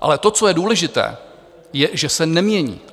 Ale to, co je důležité, je, že se nemění.